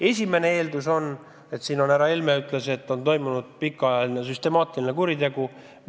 Esimene eeldus on, et siin on, nagu härra Helme ütles, pika aja jooksul toime pandud süstemaatiline kuritegu.